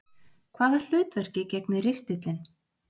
Hvaða hlutverki gegnir ristillinn?